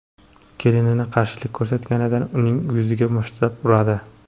Kelini qarshilik ko‘rsatganida uning yuziga mushtlab uradi.